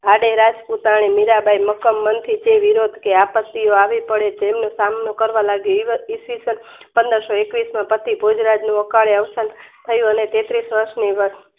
ભાડે રાજપૂતાણી મીરાંબાઈ મક્મ મનથી તેવિરોધ કે આપત્તિઓ આવી પડી સામનો કરવા લાગી ઈ. સ. પંદરસો એકવીસ નો દુતરાષ્ટ્રં નુ અકાળે અવસાન થયું અને તેત્રીસ વર્ષની વસ